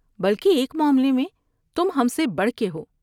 بلکہ ایک معاملے میں تم ہم سے بڑھ کے ہو ۔